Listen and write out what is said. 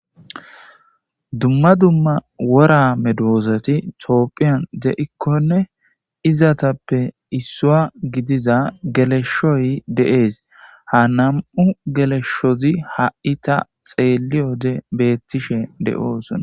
dumma dumma wora medoosati toophiyan de7ikkonne izatappe issuwa gidiza geleshoy de7ees ha nam7u geleshshozi ha7i ta xeelliyode beettishe de7oosona.